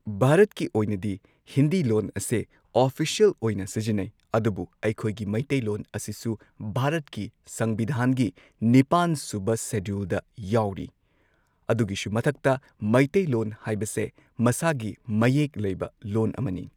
ꯚꯥꯔꯠꯀꯤ ꯑꯣꯏꯅꯗꯤ ꯍꯤꯟꯗꯤ ꯂꯣꯟ ꯑꯁꯦ ꯑꯣꯐꯤꯁ꯭ꯌꯦꯜ ꯑꯣꯏꯅ ꯁꯤꯖꯤꯟꯅꯩ ꯑꯗꯨꯕꯨ ꯑꯩꯈꯣꯏꯒꯤ ꯃꯤꯇꯩꯂꯣꯟ ꯑꯁꯤꯁꯨ ꯚꯥꯔꯠꯀꯤ ꯁꯪꯕꯤꯙꯥꯟꯒꯤ ꯅꯤꯄꯥꯟ ꯁꯨꯕ ꯁꯦꯗꯨꯜꯗ ꯌꯥꯎꯔꯤ ꯑꯗꯨꯒꯤꯁꯨ ꯃꯊꯛꯇ ꯃꯩꯇꯩꯂꯣꯟ ꯍꯥꯏꯕꯁꯦ ꯃꯁꯥꯒꯤ ꯃꯌꯦꯛ ꯂꯩꯕ ꯂꯣꯟ ꯑꯃꯅꯤ